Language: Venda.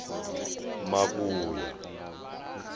makuya